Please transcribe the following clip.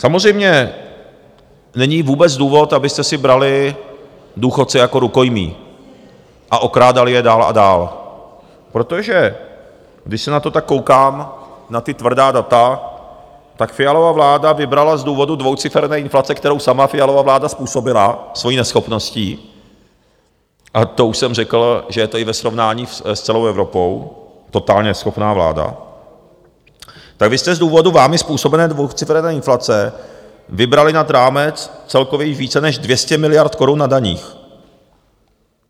Samozřejmě není vůbec důvod, abyste si brali důchodce jako rukojmí a okrádali je dál a dál, protože když se na to tak koukám, na ta tvrdá data, tak Fialova vláda vybrala z důvodu dvouciferné inflace, kterou sama Fialova vláda způsobila svojí neschopností, a to už jsem řekl, že je to i ve srovnání s celou Evropou totálně neschopná vláda, tak vy jste z důvodu vámi způsobené dvouciferné inflace vybrali nad rámec celkově již více než 200 miliard korun na daních.